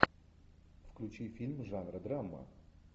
включи фильм жанра драма